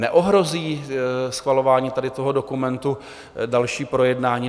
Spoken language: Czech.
Neohrozí schvalování tady toho dokumentu další projednání?